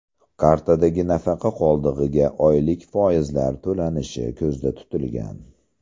Kartadagi nafaqa qoldig‘iga oylik foizlar to‘lanishi ko‘zda tutilgan.